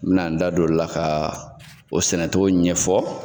N bi na n da don o la ka o sɛnɛ togo ɲɛ fɔ.